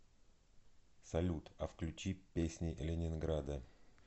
салют а включи песни ленинграда